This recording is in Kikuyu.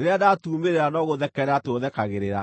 rĩrĩa ndatuumĩrĩra no gũũthekerera tũũthekagĩrĩra.